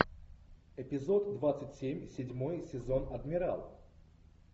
эпизод двадцать семь седьмой сезон адмирал